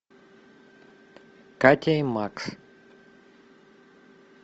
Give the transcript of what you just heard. катя и макс